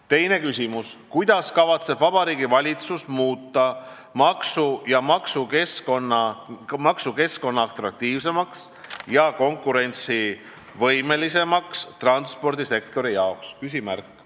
Teine küsimus: "Kuidas kavatseb Vabariigi Valitsus muuta maksu- ja majanduskeskkonna atraktiivsemaks ja konkurentsivõimelisemaks transpordisektori jaoks?